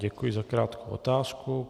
Děkuji za krátkou otázku.